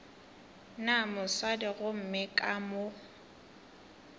na mosadi gomme ka mo